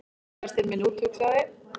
Kærastinn minn úthugsaði